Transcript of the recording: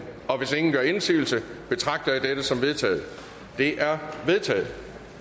hvis ingen gør indsigelse betragter jeg dette som vedtaget det er vedtaget